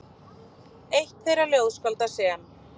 Eitt þeirra ljóðskálda sem